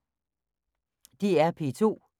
DR P2